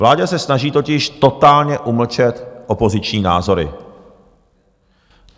Vláda se snaží totiž totálně umlčet opoziční názory.